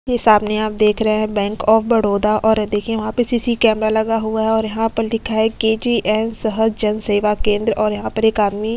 ये सामने आप देख रहे हैं बैंक आफ बडौदा और यह देखिए यहाँ पे सीसी कैमरा लगा हुआ है और यहाँ पर लिखा है केजीएन सहज जन सेवा केंद्र और यहाँ पर एक आदमी --